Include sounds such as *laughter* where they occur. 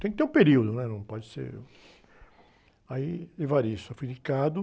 Tem que ter um período, né? Não pode ser... Aí, *unintelligible* eu fui indicado...